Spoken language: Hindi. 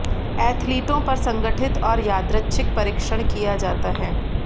एथलीटों पर संगठित और यादृच्छिक परीक्षण किया जाता है